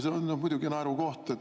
See on muidugi naerukoht.